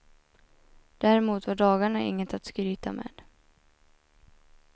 Däremot var dagarna inget att skryta med.